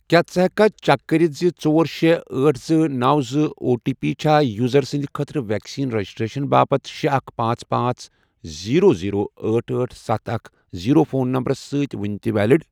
کیٛاہ ژٕ ہیٚککھا چیک کٔرِتھ زِ ژور، شے، آٹھ، زٕ، نوَ، زٕ، او ٹی پی چھا یوزر سٕنٛدۍ خٲطرٕ ویکسین رجسٹریشن باپتھ شے اکھ پانژھ پانژھ زیرٮو زیرو آٹھ آٹھ ستھ اکھ زیرو فون نمبرَس سۭتۍ وُنہِ تہِ ویلِڑ؟